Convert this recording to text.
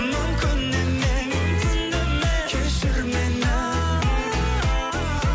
мүмкін емес мүмкін емес кешір мені